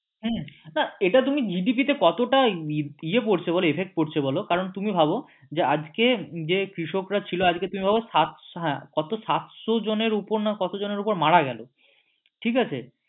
হ্যাঁ এটা তুমি GDP তে কতটা ইয়ে পড়ছে বল effect পড়ছে বল তুমি ভাবো যে আজকে তুমি হ্যাঁ কত সাতশো জনের উপর না কত জনের উপর মারা গেলো ঠিক আছে?